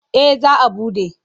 Eh za a buɗe.